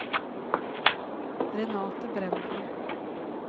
Renate Brenden